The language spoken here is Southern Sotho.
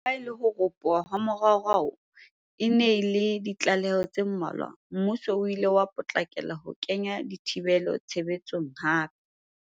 Leha ho ropoha ha moraorao e ne e le ha ditlaleho tse mmalwa, mmuso oo o ile wa potlakela ho kenya dithibelo tshebe tsong hape.